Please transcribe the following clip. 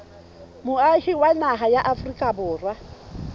moahi wa naha ya afrika